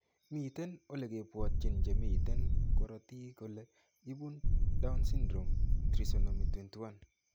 Miten ole kibwootyin che miten korotiik kole ibu Down syndrome: Trisomy 21.